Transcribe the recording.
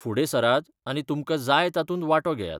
फुडें सरात आनी तुमकां जाय तातूंत वांटो घेयात.